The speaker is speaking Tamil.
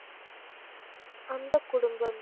அந்த குடும்பம்